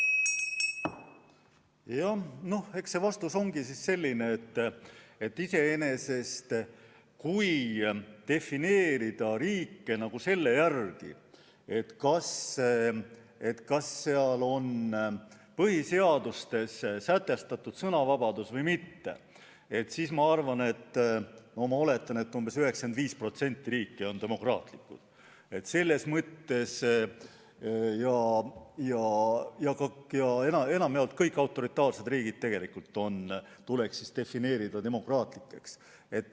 Jah, eks see vastus ongi selline, et kui defineerida riike selle järgi, kas nende põhiseaduses on sätestatud sõnavabadus või mitte, siis ma oletan, et umbes 95% riikidest oleks selles mõttes demokraatlikud ja enamjaolt kõik autoritaarsed riigid tuleks tegelikult defineerida demokraatlikeks.